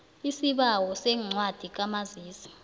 isibawo sencwadi kamazisi